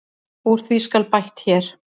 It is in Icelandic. Úr því skal bætt hér.